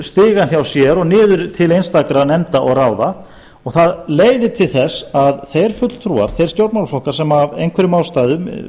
stigann hjá sér og niður til einstakra nefnda og ráða og það leiðir til þess að þeir stjórnmálaflokkar sem af einhverjum ástæðum